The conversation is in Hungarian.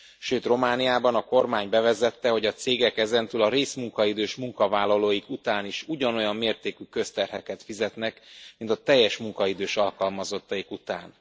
Sőt, Romániában a kormány bevezette, hogy a cégek ezentúl a részmunkaidős munkavállalóik után is ugyanolyan mértékű közterheket fizetnek, mint a teljes munkaidős alkalmazottaik után.